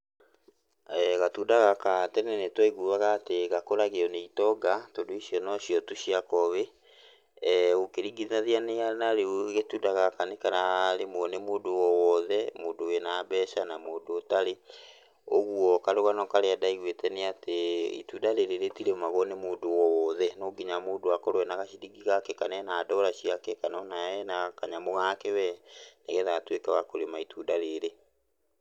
Gatunda gaka tene nĩtwaiguaga atĩ gakũragio nĩ itonga tondũ icio nocio tu cia kowĩ, ũkĩringithania na rĩu gatunda gaka nĩkara rĩmwo nĩ mũndũ o wothe mũndũ wĩ na mbeca na mũndũ ũtarĩ. Ũguo karũgano karĩa ndaiguĩte nĩ atĩ itunda rĩrĩ rĩtirĩmagwo nĩ mũndũ o wothe, no nginya mũndũ akorwo arĩ na gaciringi gake kana ena ndora ciake kana ena kanyamũ gake wee, nĩgetha atuĩke wa kũrĩma itunda rĩrĩ.